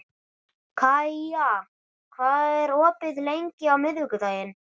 Kaía, hvað er opið lengi á miðvikudaginn?